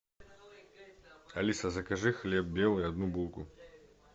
алиса закажи хлеб белый одну булку